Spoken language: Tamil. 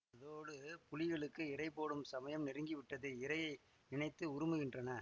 அதோடு புலிகளுக்கு இடை போடும் சமயம் நெருங்கி விட்டது இரையை நினைத்து உறுமுகின்றன